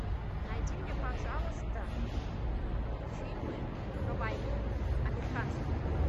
найди мне пожалуйста фильмы про войну американские